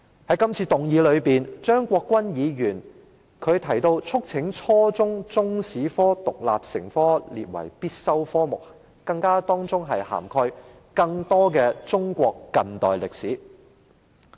在這次議案辯論中，張國鈞議員提到，促請當局規定初中中國歷史科獨立成科及將之列為必修科目，包括要"涵蓋更多中國近代歷史"。